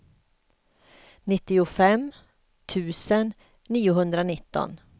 nittiofem tusen niohundranitton